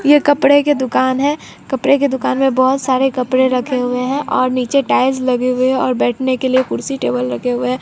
ये कपड़े के दुकान है। कपड़े के दुकान में बहोत सारे कपड़े रखे हुए हैं और नीचे टाइल्स लगे हुए हैं और बैठने के लिए कुर्सी टेबल रखे हुए--।